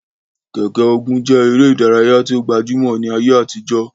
Keke-Ogun je ere idaraya ti o gbajumo ni aye atijo.